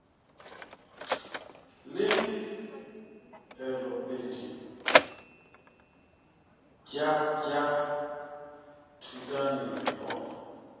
le pelopedi bj bj thulanontle